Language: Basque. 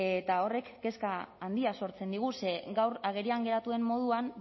eta horrek kezka handia sortzen digu ze gaur agerian geratu den moduan